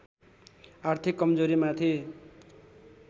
आर्थिक कमजोरीमाथि